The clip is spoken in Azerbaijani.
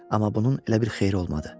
Amma bunun elə bir xeyri olmadı.